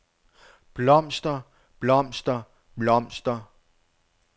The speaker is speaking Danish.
blomster blomster blomster